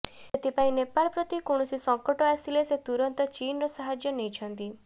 ସେଥିପାଇଁ ନେପାଳ ପ୍ରତି କୌଣସି ସଂକଟ ଆସିଲେ ସେ ତୁରନ୍ତ ଚୀନର ସାହାଯ୍ୟ ନେଇଛନ୍ତି